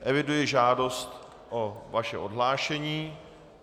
Eviduji žádost o vaše odhlášení.